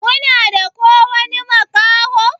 kuna da ƙowani makaho?